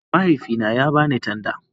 Mahaifina ya ba ni tanda